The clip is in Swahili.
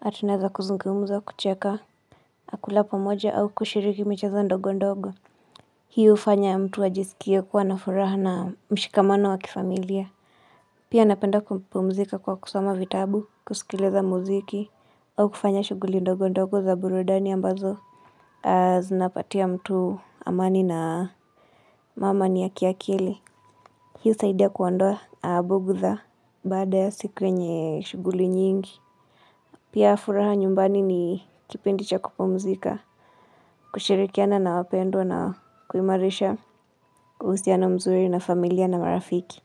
Na tunaweza kuzungumza wa kucheka. Na kula pamoja au kushiriki michezo ndogo ndogo. Hii hufanya ya mtu ajisikie kuwa na furaha na mshikamano wa kifamilia. Pia napenda kupumzika kwa kusoma vitabu, kusikiliza muziki, au kufanya shughuli ndogo ndogo za burudani ambazo. Zinapatia mtu amani na amani ya kiakili. Hii husaidia kuondoa bugdha. Baada ya siku yenye shughuli nyingi pia furaha nyumbani ni kipindi cha kupumzika. Kushirikiana na wapendwa na kuimarisha uhusiano mzuri na familia na marafiki.